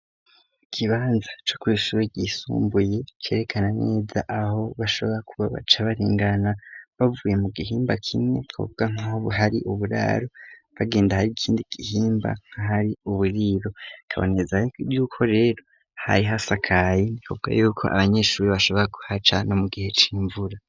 Igibanza co kw'ishure yisumbuye kerekana neza aho bashobora kuba baca baringana bavuye mu gihimba kimwe kobwa nkahobu hari uburaro bagenda hari ikindi gihimba nkahari uburiro kaboneza rryuko rero hari hasi akayi ntikobwa yuko abanyeshuri bashobora kuhaca no mu gihe imvura.